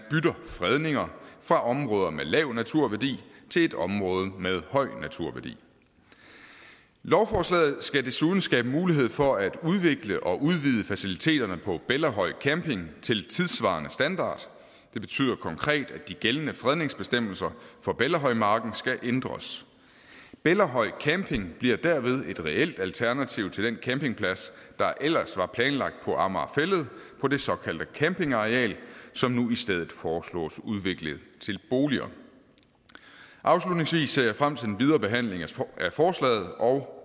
fredninger for områder med lav naturværdi til et område med høj naturværdi lovforslaget skal desuden skabe mulighed for at udvikle og udvide faciliteterne på bellahøj camping til tidssvarende standard det betyder konkret at de gældende fredningsbestemmelser for bellahøjmarken skal ændres bellahøj camping bliver derved et reelt alternativ til den campingplads der ellers var planlagt på amager fælled på det såkaldte campingareal som nu i stedet foreslås udviklet til boliger afslutningsvis ser jeg frem til den videre behandling af forslaget og